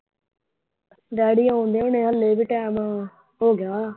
Daddy ਆਉਂਦੇ ਨੇ ਹਾਲੇ ਵੀ ਟਾਇਮ ਹੋ ਗਿਆ ਹੋਣਾ।